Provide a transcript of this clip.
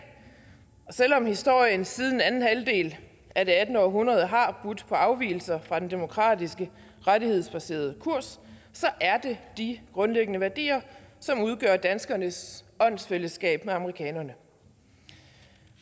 og selv om historien siden anden halvdel af det attende århundrede har budt på afvigelser fra den demokratiske rettighedsbaserede kurs er det de grundlæggende værdier som udgør danskernes åndsfællesskab med amerikanerne